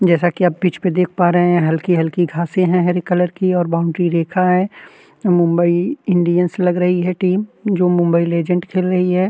जैसा की आप पिच पर देख पा रहे हैं हलकी-हलकी घासें हैं हरे कलर की और बाउंड्री रेखा है मुंबई इंडियंस लग रही है टीम जो मुंबई लेजेंड्स खेल रही है।